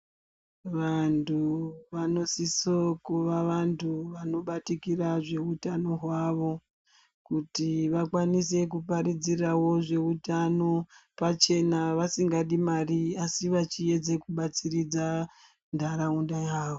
Vantu vanosiso kuva vantu vanobatikira zveutano hwawo kuti vakwanisekuparidzirawo zveutano pavhena vasingadi mari asi vachiedze kubatsiridza ntaraunda yawo.